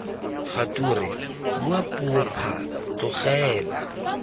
kgature bua puo phaa tlogela